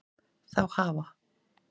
Þá hafa